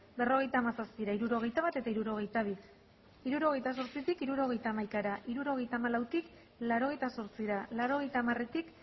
berrogeita hamazazpira hirurogeita bat eta hirurogeita bi hirurogeita zortzitik hirurogeita hamaikara hirurogeita hamalautik laurogeita zortzira laurogeita hamaretik